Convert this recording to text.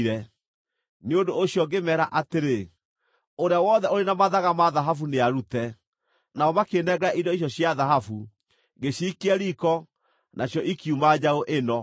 Nĩ ũndũ ũcio ngĩmeera atĩrĩ, ‘Ũrĩa wothe ũrĩ na mathaga ma thahabu, nĩarute.’ Nao makĩĩnengera indo icio cia thahabu, ngĩciikia riiko, nacio ikiuma njaũ ĩno!”